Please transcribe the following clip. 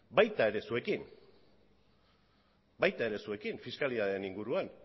baita ere zuekin fiskalitatearen inguruan